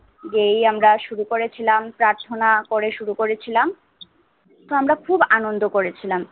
গেয়ে আমরা শুরু করেছিলাম প্রাথণা করে শুরু করেছিলাম তো আমরা খুব আনন্দ করেছিলাম